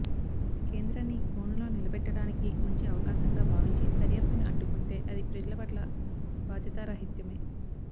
కేంద్రాన్ని బోనులో నిలబెట్టడానికి మంచి అవకాశంగా భావించి దర్యాప్తుని అడ్డుకొంటే అది ప్రజల పట్ల బాధ్యతారాహిత్యమే